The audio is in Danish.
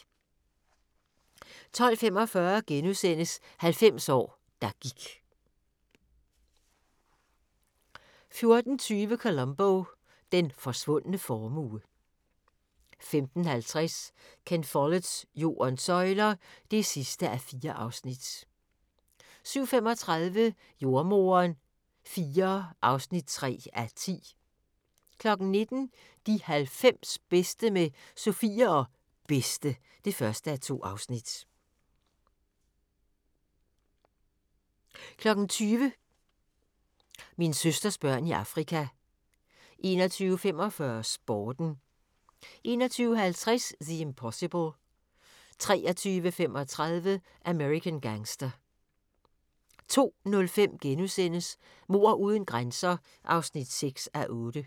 12:45: 90 år, der gik * 14:20: Columbo: Den forsvundne formue 15:50: Ken Folletts Jordens søjler (4:4) 17:35: Jordemoderen IV (3:10) 19:00: De 90 bedste med Sofie og Bedste (1:2) 20:00: Min søsters børn i Afrika 21:45: Sporten 21:50: The Impossible 23:35: American Gangster 02:05: Mord uden grænser (6:8)*